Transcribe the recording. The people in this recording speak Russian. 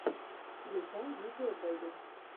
включай видео бэби